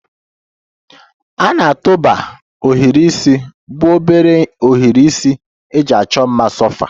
A na-atụba ohiri isi bụ obere ohiri isi eji achọ mma sofa